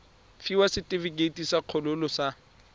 fiwa setefikeiti sa kgololo sa